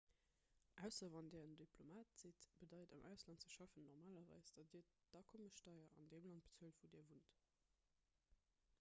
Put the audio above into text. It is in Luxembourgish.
ausser wann dir en diplomat sidd bedeit am ausland ze schaffen normalerweis datt dir d'akommessteier an deem land bezuelt wou dir wunnt